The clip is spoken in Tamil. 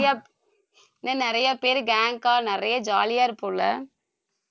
நிறைய இன்னும் நிறைய பேர் gang ஆ நிறைய jolly ஆ இருப்போம்ல